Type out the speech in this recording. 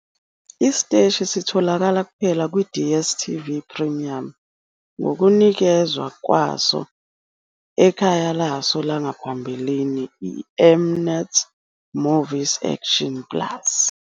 Isiteshi sitholakala kuphela kwi-DStv Premium ngokunikezwa kwaso ekhaya laso langaphambili iM-Net Movies Action Plus.